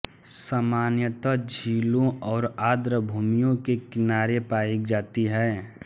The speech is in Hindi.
सामान्यतः झीलों और आर्द्रभूमियों के किनारे पायी जाती है